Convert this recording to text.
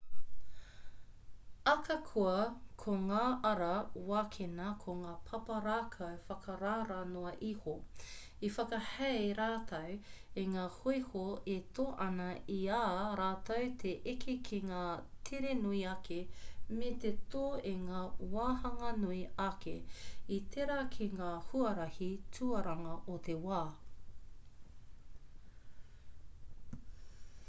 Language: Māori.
akakoa ko ngā ara wākena ko ngā papa rākau whakarara noa iho i whakahei rātou i ngā hoiho e tō ana i a rātou te eke ki ngā tere nui ake me te tō i ngā wahanga nui ake i tērā ki ngā huarahi tuaranga o te wā